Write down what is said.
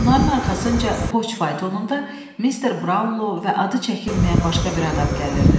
Onların arxasınca poçt faytonunda Mister Braunlu və adı çəkilməyən başqa bir adam gəlirdi.